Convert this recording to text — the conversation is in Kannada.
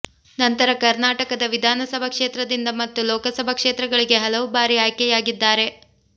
ನಂತರ ಕರ್ನಾಟಕದ ವಿಧಾನ ಸಭಾ ಕ್ಷೇತ್ರದಿಂದ ಮತ್ತು ಲೋಕಸಭಾ ಕ್ಷೇತ್ರಗಳಿಗೆ ಹಲವುಬಾರಿ ಆಯ್ಕೆಯಾಗಿದ್ದಾರೆ